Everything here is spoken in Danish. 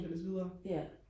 til og læse videre